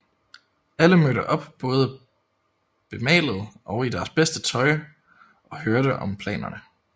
Alle mødte op både bemalet og i deres bedste tøj og hørte om planerne